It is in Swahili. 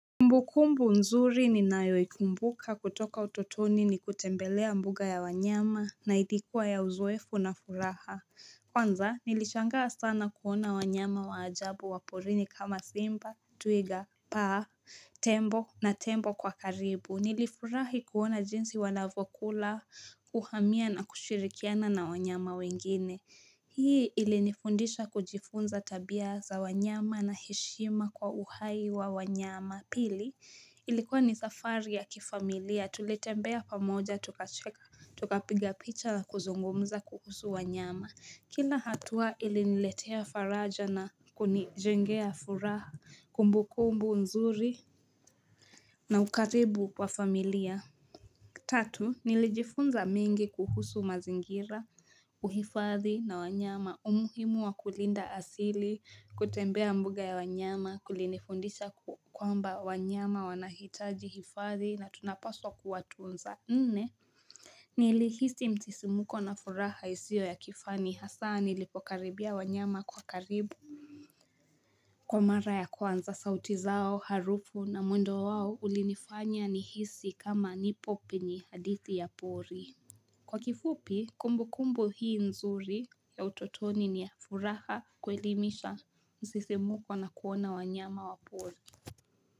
Kumbukumbu nzuri ninayoikumbuka kutoka utotoni ni kutembelea mbuga ya wanyama na ilikuwa ya uzoefu na furaha kwanza nilishangaa sana kuona wanyama wa ajabu waporini kama simba twiga paa tembo na tembo kwa karibu nilifurahi kuona jinsi wanavyokula kuhamia na kushirikiana na wanyama wengine hii ilinifundisha kujifunza tabia za wanyama na heshima kwa uhai wa wanyama Pili ilikuwa ni safari ya kifamilia tuletembea pamoja tukacheka tukapiga picha na kuzungumza kuhusu wanyama Kila hatua iliniletea faraja na kunijengea furaha kumbukumbu nzuri na ukaribu wa familia tatu nilijifunza mengi kuhusu mazingira uhifadhi na wanyama umuhimu wa kulinda asili kutembea mbuga ya wanyama kulinifundisha kwamba wanyama wanahitaji hifadhi na tunapaswa kuwatunza nne nilihisi msisimuko na furaha isiyo ya kifani hasa nilipokaribia wanyama kwa karibu Kwa mara ya kwanza sauti zao harufu na mwendo wao ulinifanya ni hisi kama nipo penye hadithi ya pori kwa kifupi kumbukumbu hii nzuri ya utotoni ni ya furaha kuelimisha msisimuko na kuona wanyama wa pori.